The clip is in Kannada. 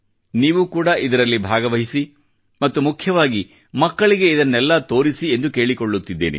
ನೀವೂ ಕೂಡ ಇದರಲ್ಲಿ ಭಾಗವಹಿಸಿ ಮತ್ತು ಮುಖ್ಯವಾಗಿ ಮಕ್ಕಳಿಗೆ ಇದನ್ನೆಲ್ಲಾ ತೋರಿಸಿ ಎಂದು ಕೇಳಿಕೊಳ್ಳುತ್ತಿದ್ದೇನೆ